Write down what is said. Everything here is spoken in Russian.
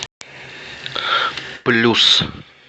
плюс